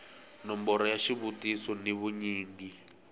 nomboro ya xivutiso ni vunyingi